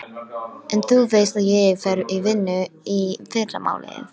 En þú veist að ég fer í vinnu í fyrramálið.